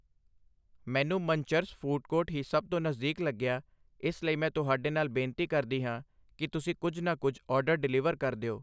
ਮੈਨੂੰ ਮਨਚਰਜ food court ਹੀ ਸਭ ਤੋਂ ਨਜ਼ਦੀਕ ਲੱਗਿਆ ਇਸ ਲਈ ਮੈਂ ਤੁਹਾਡੇ ਨਾਲ ਬੇਨਤੀ ਕਰਦੀ ਹਾਂ ਕਿ ਤੁਸੀਂ ਕੁਝ ਨਾ ਕੁਝ ਔਡਰ ਡਿਲੀਵਰ ਕਰ ਦਿਓ